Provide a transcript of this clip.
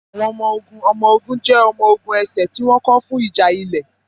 Àwọn ọmọ-ogun ọmọ-ogun jẹ́ ọmọ-ogun ẹsẹ̀ tí wọ́n kọ́ fún ìjà ilẹ̀.